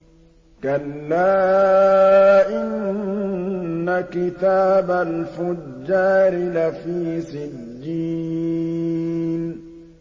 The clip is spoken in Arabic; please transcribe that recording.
كَلَّا إِنَّ كِتَابَ الْفُجَّارِ لَفِي سِجِّينٍ